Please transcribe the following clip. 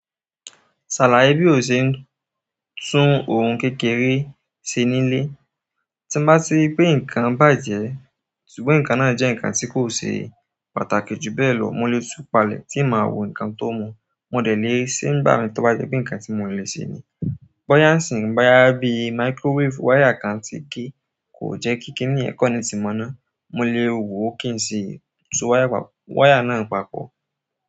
Sàláì bí o ṣe ń tún ohun kékeré ṣe nílé, tí bá ti pé nǹkan bàjẹ́, ṣùgbọ́n nǹkan náà jẹ́ nǹkan tí kò ṣe pàtàkì jù bẹ́ẹ̀ lọ, mo lè tún palẹ̀ tí mo máa wo nǹkan tó mọ̀. Mo dẹ̀ lé e ṣe bá mi tí ó bá jẹ́ pé nǹkan tí mo le ṣe ni. Bọ́ya ńsìn, bóyá bí microwave, wáyà kan ti gé, kò jẹ́ ki kini yẹ̀ connect mọ́ná, mo lè wo kí n sì tún wáyà náà papọ̀.